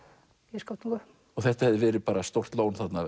í Skaftártungu þetta hefði verið bara stórt lón þarna